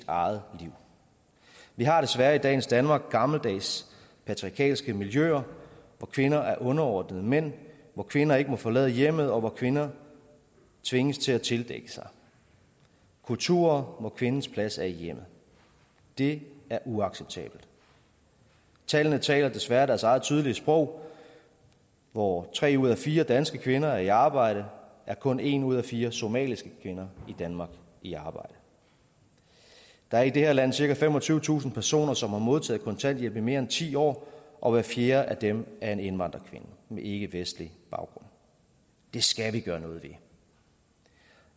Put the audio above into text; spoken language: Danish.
eget liv vi har desværre i dagens danmark gammeldags patriarkalske miljøer hvor kvinder er underordnet mænd hvor kvinder ikke må forlade hjemmet og hvor kvinder tvinges til at tildække sig kulturer hvor kvindens plads er i hjemmet det er uacceptabelt tallene taler desværre deres eget tydelige sprog hvor tre ud af fire danske kvinder er i arbejde er kun en ud af fire somaliske kvinder i danmark i arbejde der er i det her land cirka femogtyvetusind personer som har modtaget kontanthjælp i mere end ti år og hver fjerde af dem er en indvandrerkvinde med ikkevestlig baggrund det skal vi gøre noget ved